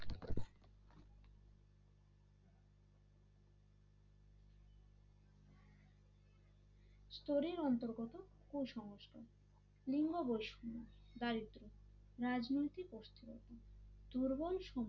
স্তোরির অন্তর্গত কুসংস্কার দারিদ্র্য রাজনৈতিক অস্থিরতা দুর্বল